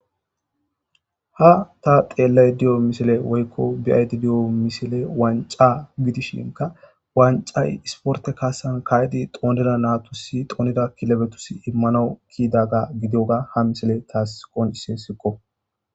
Ha ta xelayidadiyo misile woyiko be,ayidadiyo misile wanc,a gidishinka wanc,ayi isporte kasan kayidi xonida nayitus xonida kilebetus imanaw kiyidaga gidiyoga ha misile tasi qonc,ises